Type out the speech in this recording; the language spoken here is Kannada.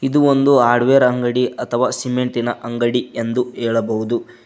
ಇದು ಒಂದು ಹಾರ್ಡ್ವೇರ್ ಅಂಗಡಿ ಅಥವ ಸಿಮೆಂಟ್ ಇನ ಅಂಗಡಿ ಎಂದು ಹೇಳಬಹುದು.